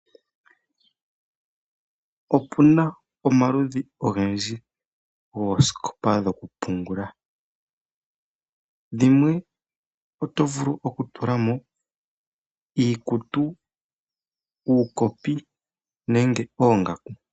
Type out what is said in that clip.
Otuna omaludhi ogendji goosikopo dhoku pungula, oosikopa dhimwe ohatudhi pungula iikutu, nadhimwe ohatupungulamo uukopi nadhimwe ohatupungulamo oongaku.